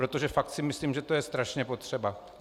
Protože fakt si myslím, že to je strašně potřeba.